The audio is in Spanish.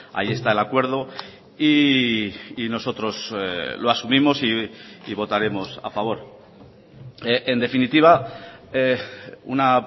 ahí está el acuerdo y nosotros lo asumimos y votaremos a favor en definitiva una